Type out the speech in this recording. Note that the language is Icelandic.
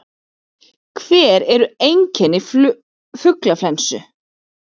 Hver eru einkenni fuglaflensu?